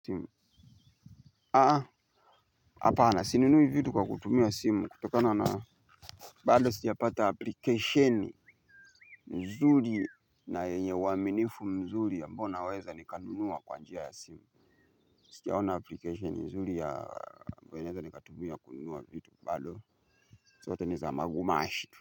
Simu hapana sininunui vitu kwa kutumia simu kutokana na bado sija pata application mzuri na yenye uaminifu mzuri ambayo naweza ni kanunua kwa njia ya simu. Sijaona application mzuri ya ambayo naeza ni katumia kununua vitu bado zote ni za magumashi.